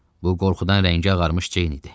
Bu qorxudan rəngi ağarmış Ceyn idi.